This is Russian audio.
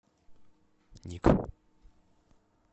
ник